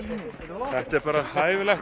þetta er bara hæfilegt